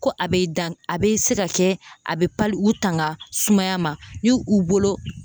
Ko a be dan ,a be se ka kɛ a be u tanga sumaya ma ni u bolo